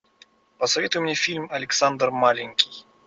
посоветуй мне фильм александр маленький